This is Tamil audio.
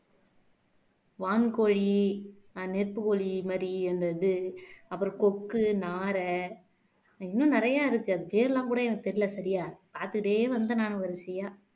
வான்கோழி நெருப்புக்கோழி மாதிரி அந்த இது அப்புறம் கொக்கு நாரை இன்னும் நிறையா இருக்கு அது பேரெல்லாம் கூட எனக்கு தெரியலே சரியா பார்த்துட்டே வந்து நான் வரிசையா